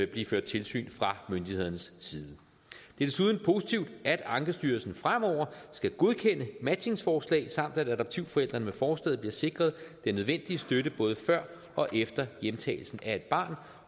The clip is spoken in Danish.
blive ført tilsyn fra myndighedernes side det er desuden positivt at ankestyrelsen fremover skal godkende matchingsforslag samt at adoptivforældrene med forslaget bliver sikret den nødvendige støtte både før og efter hjemtagelsen af et barn